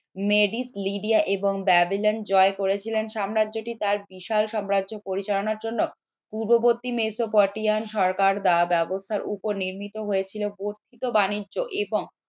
এবং ব্যাবিলন জয় করেছিলেন সাম্রাজ্যটি তার বিশাল সাম্রাজ্য পরিচালনা করার জন্য পূর্ববর্তী মেসো পটেয়ান সরকার বা ব্যবস্থার উপর নির্মিত হয়েছিল বর্ধিত বাণিজ্য এবং